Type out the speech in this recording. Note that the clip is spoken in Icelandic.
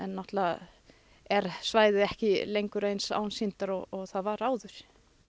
náttúrulega er svæðið ekki eins ásýndar og það var áður